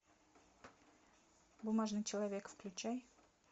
бумажный человек включай